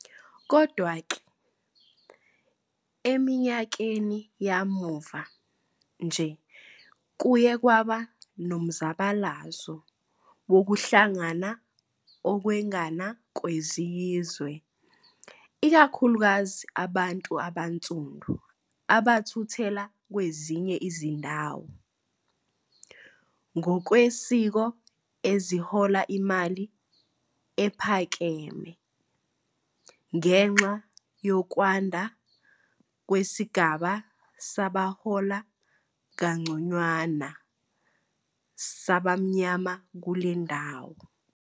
Kodwa-ke, eminyakeni yamuva nje kuye kwaba nomzabalazo wokuhlangana okwengana kwezizwe, ikakhulukazi abantu abansundu abathuthela kwezinye izindawo, ngokwesiko ezihola imali ephakeme, ngenxa yokwanda kwesigaba sabahola kangconywana sabamnyama kule ndawo.